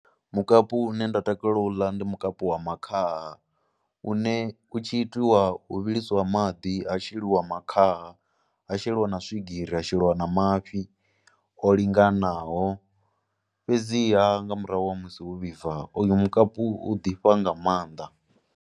Mukapu une nda takalela u ḽa ndi mukapu wa makhaha une u tshi itiwa hu vhilisa maḓi ha sheliwa makhaha, ha sheliwa na swigiri, ha sheliwa na mafhi o linganaho fhedziha nga murahu ha musi wo vhibva oyo mukapu u ḓifha nga maanḓa.